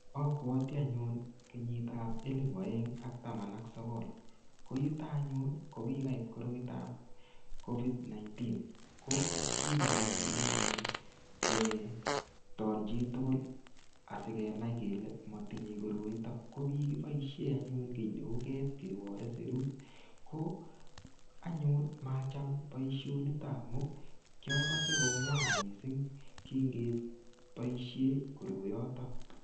Abwoti anyun kenyitab elipu aeng ak taman ak sogol. Ko yuta anyun ko kigait koroitoab covid19 ko kimagatin anyun keeton chi tugul asigenai kele matinye koroito. Ko kikiboisien anyun kiy neu ket kebore serut. Ko anyun, macham boisionito kiagose ko ngwan mising kingeboisie koroiyoto.